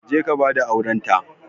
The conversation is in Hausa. Ka je ka ba da aurents.